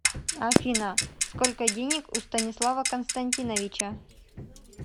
афина сколько денег у станислава константиновича